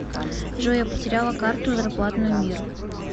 джой я потеряла карту зарплатную мир